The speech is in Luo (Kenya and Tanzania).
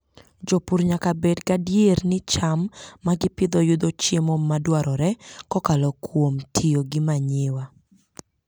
Jopur nyaka bed gadier ni cham ma gipidho yudo chiemo madwarore kokalo kuom tiyo gi manyiwa.